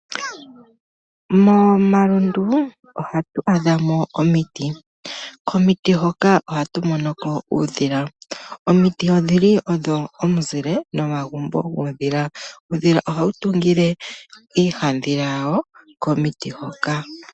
Momalundu ohatu adhamo omiti. Komiti hoka ohatu monoko uudhila. Omiti odhili odho omizile nomagumbo guudhila. Uudhila oha wu tungile iihaandhila yawo komiti hoka.